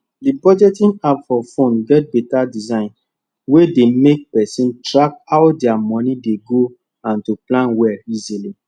d budgeting app for phone get better design wey dey make persin track how dia moni dey go and to plan well easily